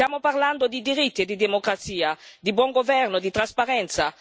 Stiamo parlando di diritti e di democrazia, di buon governo e di trasparenza.